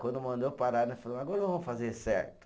Quando mandou parar, nós falou, agora vamos fazer certo.